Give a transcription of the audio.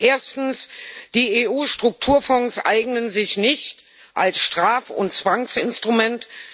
Erstens Die EU Strukturfonds eignen sich nicht als Straf und Zwangsinstrument.